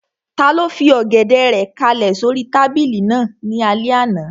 Taló fi Ọ̀gẹ̀dẹ̀ rẹ̀ kálẹ̀ sóri tábìlì náà ní alẹ́ àná?